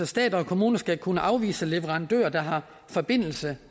stat og kommuner skal kunne afvise leverandører der har forbindelse